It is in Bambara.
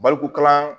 Baliku kalan